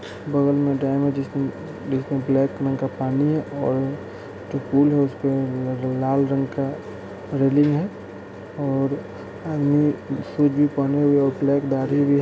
बगल में डैम है जिसमें जिसमें ब्लैक कलर का पानी है और जो पुल है उसके लाल रंग का रेलिंग है और आदमी सूट-बूट पहने हुए और ब्लैक दाढ़ी भी है।